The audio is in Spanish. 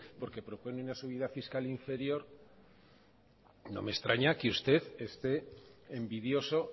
porque propone una subida fiscal inferior no me extraña que usted esté envidioso